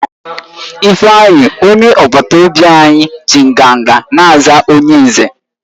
Ifeanyi, onye agbata obi anyi ji nganga na-aza onye Nze